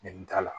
Nɛni t'a la